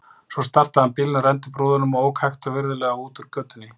Svo startaði hann bílnum, renndi upp rúðunum og ók hægt og virðulega út úr götunni.